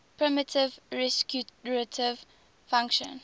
primitive recursive function